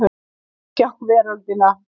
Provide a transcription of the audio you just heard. Gott er að sjá veröldina!